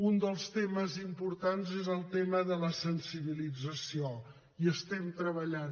un dels temes importants és el tema de la sensibilització hi estem treballant